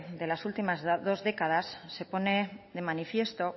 de las últimas dos décadas se pone de manifiesto